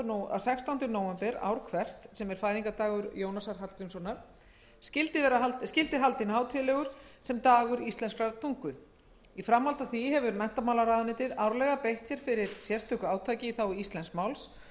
að sextánda nóvember ár hvert sem er fæðingardagur jónasar hallgrímssonar skyldi haldinn hátíðlegur sem dagur íslenskrar tungu í framhaldi af því hefur menntamálaráðuneytið árlega beitt sér fyrir sérstöku átaki í þágu íslensks máls og